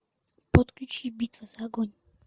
подключи битва за огонь